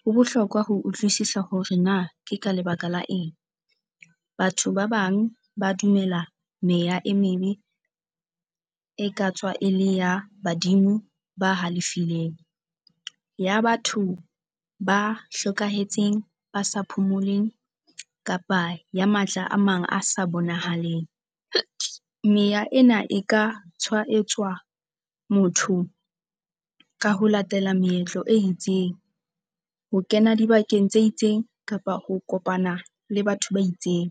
ho bohlokwa ho utlwisisa hore na ke ka lebaka la eng. Batho ba bang ba dumela meya e mebe e ka tswa e le ya badimo ba halefileng. Ya batho ba hlokahetseng, ba sa phomoleng kapa ya matla a mang a sa bonahaleng. Meya ena e ka tshwaetsa motho ka ho latela moetlo e itseng, ho kena dibakeng tse itseng kapa ho kopana le batho ba itseng.